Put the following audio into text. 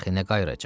Dəxi nə qayıracaq?